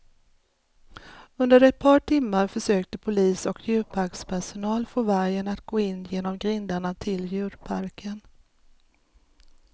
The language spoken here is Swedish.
Under ett par timmar försökte polis och djurparkspersonal få vargen att gå in genom grindarna till djurparken.